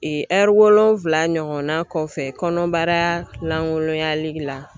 wolonfila ɲɔgɔn na kɔfɛ kɔnɔnbaralankolonyali la.